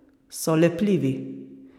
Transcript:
So lepljivi.